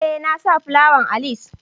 Eh, na sa plawan a lis.